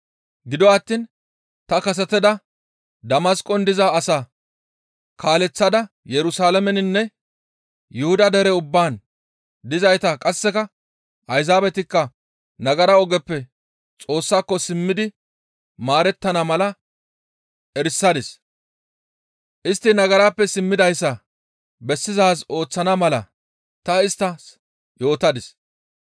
Gido attiin ta kasetada Damasqon diza asaa kaaleththada Yerusalaameninne Yuhuda dere ubbaan dizayta qasseka Ayzaabetikka nagara ogeppe Xoossako simmidi maarettana mala erisadis; istti nagarappe simmidayssa bessizaaz ooththana mala ta isttas yootadis.